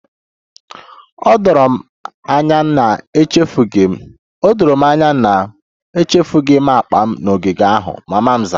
O doro m anya na echefughị m akpa m n'ogige ahụ, mama m zara